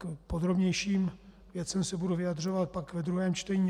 K podrobnějším věcem se budu vyjadřovat pak ve druhém čtení.